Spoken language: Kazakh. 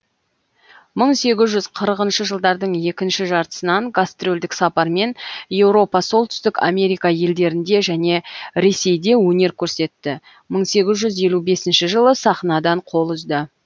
мың сегіз жүз қырықыншы жылдардың екінші жартысынан гастрольдік сапармен еуропа солтүстік америка елдерінде және ресейде өнер көрсетті мың сегіз жүз елу бесінші жылы сахнадан қол үзді